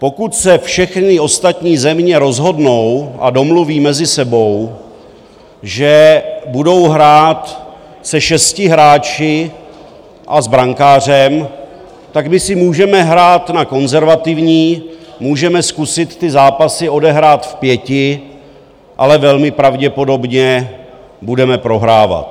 Pokud se všechny ostatní země rozhodnou a domluví mezi sebou, že budou hrát se šesti hráči a s brankářem, tak my si můžeme hrát na konzervativní, můžeme zkusit ty zápasy odehrát v pěti, ale velmi pravděpodobně budeme prohrávat.